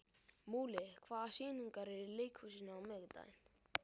Múli, hvaða sýningar eru í leikhúsinu á miðvikudaginn?